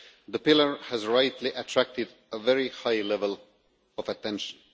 The pillar has rightly attracted a very high level of attention.